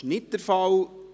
– Dies ist nicht der Fall.